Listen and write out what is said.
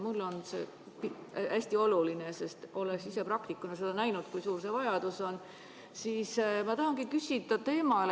Mulle on see hästi oluline, sest olles ise praktikuna näinud, kui suur see vajadus on, siis ma tahangi küsida.